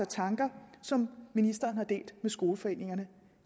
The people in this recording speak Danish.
tanker som ministeren har delt med skoleforeningerne